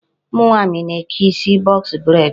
Ụmụ nwaanyị na-eke isi box braid.